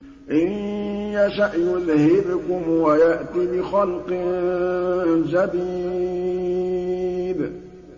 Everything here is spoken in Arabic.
إِن يَشَأْ يُذْهِبْكُمْ وَيَأْتِ بِخَلْقٍ جَدِيدٍ